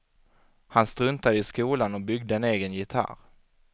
Han struntade i skolan och byggde en egen gitarr.